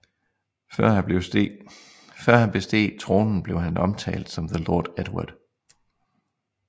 Før han besteg tronen blev han omtalt som The Lord Edward